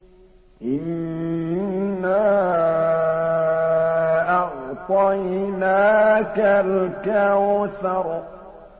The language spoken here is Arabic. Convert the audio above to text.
إِنَّا أَعْطَيْنَاكَ الْكَوْثَرَ